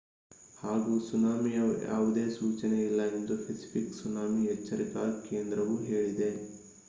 ಹಾಗೂ ಸುನಾಮಿಯ ಯಾವುದೇ ಸೂಚನೆಯಿಲ್ಲ ಎಂದು ಪೆಸಿಫಿಕ್ ಸುನಾಮಿ ಎಚ್ಚರಿಕಾ ಕೇಂದ್ರವು ಹೇಳಿದೆ